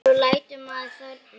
Svo lætur maður þorna.